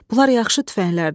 Bunlar yaxşı tüfənglərdir.